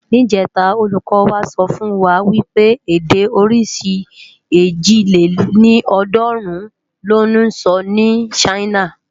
Nijètá ólúkò wá sòfúnwá wipé èdè órisi èjì lé ní ọ́ọ̀dúnrún lò nsò ni Ṣaina